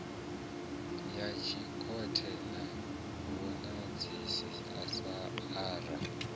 ya dzikhothe na vhomadzhisi ara